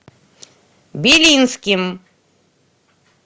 белинским